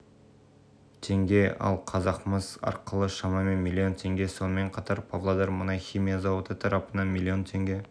теңге ал қазақмыс арқылы шамамен млн теңге сонымен қатар павлодар мұнай-химия зауыты тарапынан млн теңге